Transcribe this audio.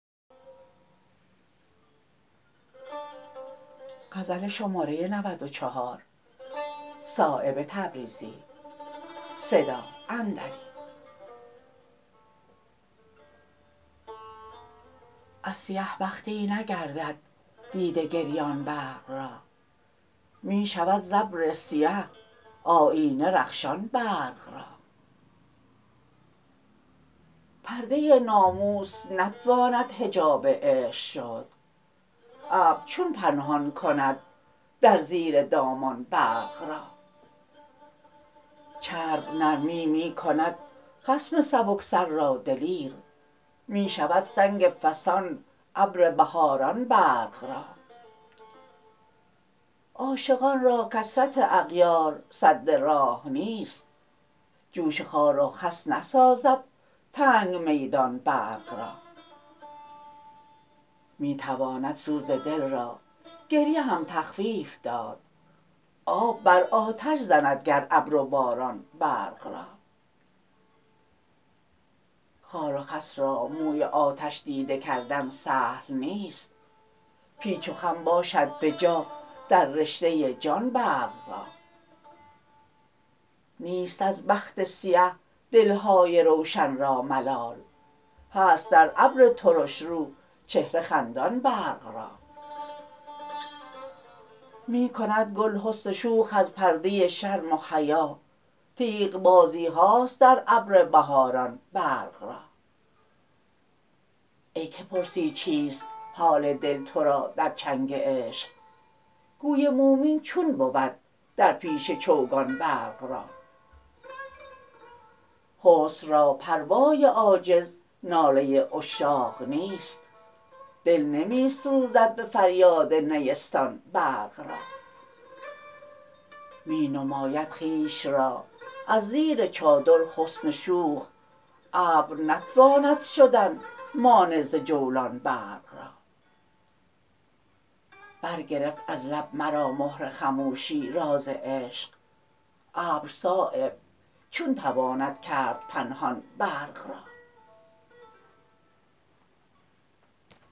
از سیه بختی نگردد دیده گریان برق را می شود ز ابر سیه آیینه رخشان برق را پرده ناموس نتواند حجاب عشق شد ابر چون پنهان کند در زیر دامان برق را چرب نرمی می کند خصم سبکسر را دلیر می شود سنگ فسان ابر بهاران برق را عاشقان را کثرت اغیار سد راه نیست جوش خار و خس نسازد تنگ میدان برق را می تواند سوز دل را گریه هم تخفیف داد آب بر آتش زند گر ابر و باران برق را خار و خس را موی آتش دیده کردن سهل نیست پیچ و خم باشد به جا در رشته جان برق را نیست از بخت سیه دل های روشن را ملال هست در ابر ترشرو چهره خندان برق را می کند گل حسن شوخ از پرده شرم و حیا تیغ بازیهاست در ابر بهاران برق را ای که پرسی چیست حال دل ترا در چنگ عشق گوی مومین چون بود در پیش چوگان برق را حسن را پروای عاجز نالی عشاق نیست دل نمی سوزد به فریاد نیستان برق را می نماید خویش را از زیر چادر حسن شوخ ابر نتواند شدن مانع ز جولان برق را برگرفت از لب مرا مهر خموشی راز عشق ابر صایب چون تواند کرد پنهان برق را